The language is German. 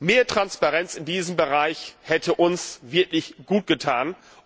Mehr Transparenz in diesem Bereich hätte uns wirklich gut getan.